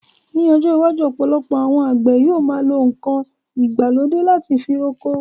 Ní ọjọ́ iwájú, ọ̀pọ̀lọpọ̀ àwọn àgbè yọ ma lo nkan ìgbàlódé láti fi roko.